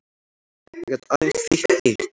Það gat aðeins þýtt eitt.